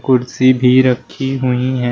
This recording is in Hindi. कुर्सी भी रखी हुई है।